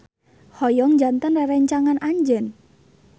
Hoyong janten rerencangan anjeun.